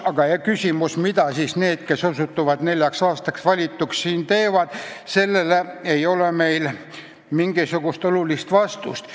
Aga küsimus, mida siis need, kes osutuvad neljaks aastaks valituks, siin teevad – sellele ei ole meil mingisugust head vastust.